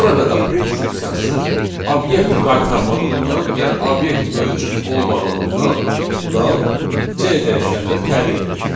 Burada da print funksiyası obyekt qaytarmadığından, yəni obyekt mövcud olmadığından nan C dəyişəninə təyin edilir.